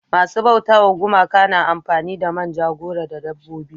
masu bauta wa gumaka na amfani da manja goro da dabbobi